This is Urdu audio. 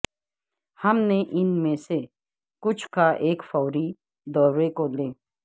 ہم نے ان میں سے کچھ کا ایک فوری دورے کو لے